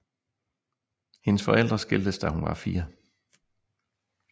Hendes forældre skiltes da hun var fire